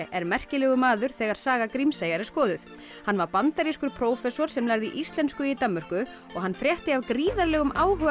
er merkilegur maður þegar saga Grímseyjar er skoðuð hann var bandarískur prófessor sem lærði íslensku í Danmörku og hann frétti af gríðarlegum áhuga